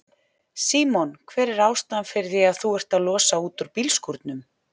Símon: Hver er ástæðan fyrir því að þú ert að losa út úr bílskúrnum?